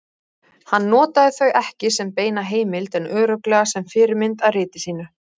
Hann notaði þau ekki sem beina heimild en örugglega sem fyrirmynd að riti sínu.